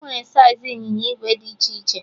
Enwere saiz ịnyịnya ìgwè dị iche iche